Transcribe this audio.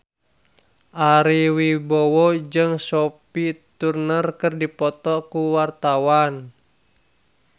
Ari Wibowo jeung Sophie Turner keur dipoto ku wartawan